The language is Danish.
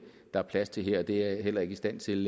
der er plads til her og det er jeg heller ikke i stand til